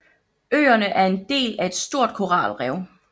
Øerne er en del af et stort koralrev